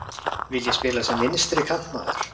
Vil ég spila sem vinstri kantmaður?